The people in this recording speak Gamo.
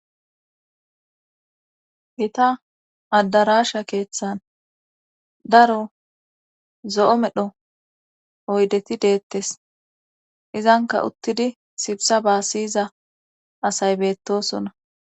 Gita addarasha keeththan daro zo7o medho oydeti deettes izanka uttidi sibsabaa siyiza asay beettosona